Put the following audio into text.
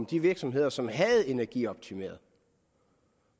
de virksomheder som havde energioptimeret